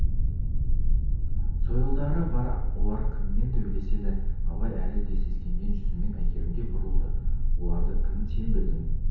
сойылдары бар олар кіммен төбелеседі абай әлі де сескенген жүзімен әйгерімге бұрылды олары кім сен білдің